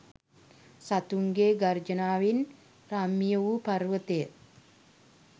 සතුන්ගේ් ගර්ජනාවෙන් රම්‍ය වූ පර්වතය